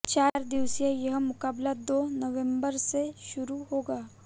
चार दिवसीय यह मुकाबला दो नवंबर से शुरु होगा